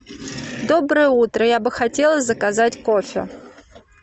доброе утро я бы хотела заказать кофе